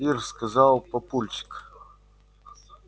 ир сказал папульчик